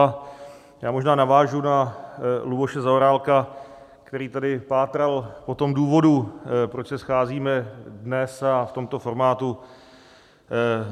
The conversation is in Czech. A já možná navážu na Luboše Zaorálka, který tady pátral po tom důvodu, proč se scházíme dnes a v tomto formátu.